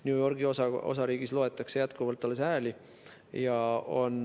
New Yorgi osariigis loetakse jätkuvalt alles hääli.